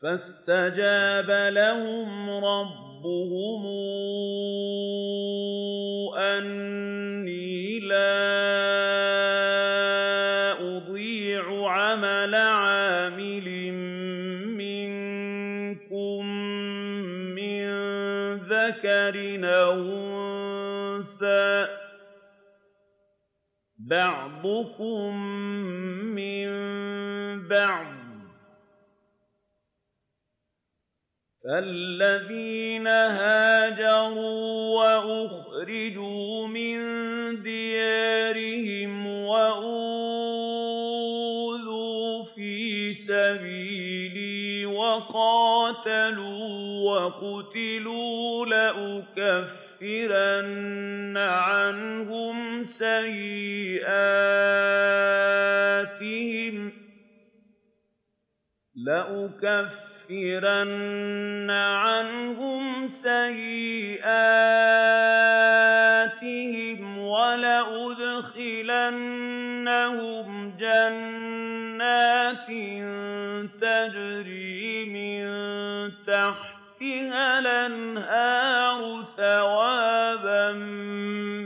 فَاسْتَجَابَ لَهُمْ رَبُّهُمْ أَنِّي لَا أُضِيعُ عَمَلَ عَامِلٍ مِّنكُم مِّن ذَكَرٍ أَوْ أُنثَىٰ ۖ بَعْضُكُم مِّن بَعْضٍ ۖ فَالَّذِينَ هَاجَرُوا وَأُخْرِجُوا مِن دِيَارِهِمْ وَأُوذُوا فِي سَبِيلِي وَقَاتَلُوا وَقُتِلُوا لَأُكَفِّرَنَّ عَنْهُمْ سَيِّئَاتِهِمْ وَلَأُدْخِلَنَّهُمْ جَنَّاتٍ تَجْرِي مِن تَحْتِهَا الْأَنْهَارُ ثَوَابًا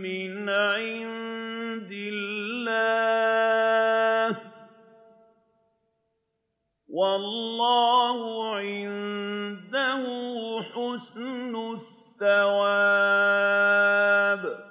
مِّنْ عِندِ اللَّهِ ۗ وَاللَّهُ عِندَهُ حُسْنُ الثَّوَابِ